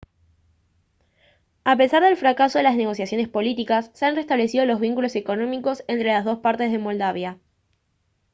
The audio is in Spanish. a pesar del fracaso de las negociaciones políticas se han reestablecido los vínculos económicos entre las dos partes de moldavia